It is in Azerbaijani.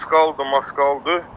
Maskalıdır, maskalıdır.